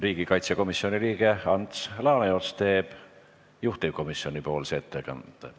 Riigikaitsekomisjoni liige Ants Laaneots teeb juhtivkomisjoni ettekande.